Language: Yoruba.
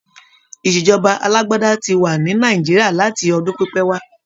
Ìṣèjọba alágbádá ti wà ní Nàìjíríà láti ọdún pípẹ́ wá.